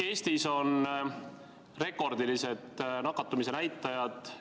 Eestis on rekordilised nakatumisnäitajad.